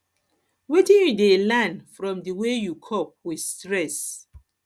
wetin you dey learn from di way you cope with stress